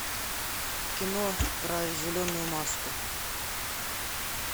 кино про зеленую маску